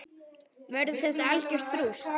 Verður þetta algjört rúst???